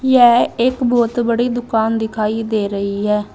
यह एक बहुत बड़ी दुकान दिखाई दे रही है।